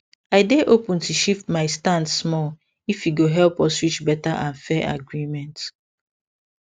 i dey open to shift my stand small if e go help us reach better and fair agreement